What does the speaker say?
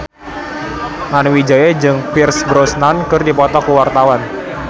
Nani Wijaya jeung Pierce Brosnan keur dipoto ku wartawan